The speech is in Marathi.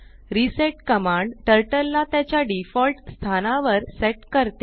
रिसेट कमांड टर्टल ला त्याच्या डिफॉल्ट स्थानावर सेट करते